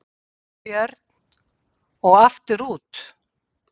Björn: Og aftur út?